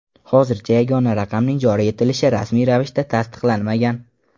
Hozircha yagona raqamning joriy etilishi rasmiy ravishda tasdiqlanmagan.